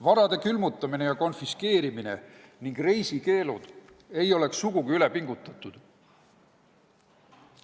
Varade külmutamine ja konfiskeerimine ning reisikeeldude kehtestamine ei oleks sugugi üle pingutatud.